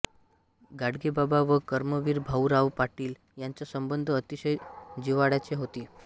गाडगेबाबा व कर्मवीर भाऊराव पाटील यांच्या संबंध अतिशय जिव्हाळ्याचे होते